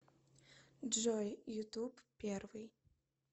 джой ютуб первый